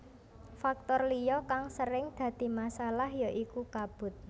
Faktor liya kang sering dadi masalah ya iku kabut